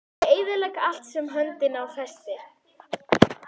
Ég eyðilegg allt sem hönd á festir.